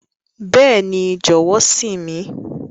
Bẹẹni, jọwọ sìn mi.